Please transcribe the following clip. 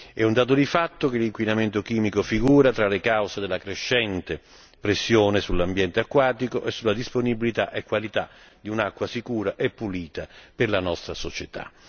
È un dato di fatto che l'inquinamento chimico figura tra le cause della crescente pressione sull'ambiente acquatico e sulla disponibilità e qualità di un'acqua sicura e pulita per la nostra società.